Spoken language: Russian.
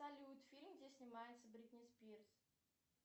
салют фильм где снимается бритни спирс